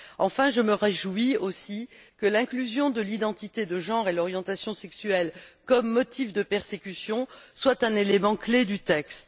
Enfin je me réjouis aussi que l'inclusion de l'identité de genre et de l'orientation sexuelle comme motifs de persécution soit un élément clé du texte.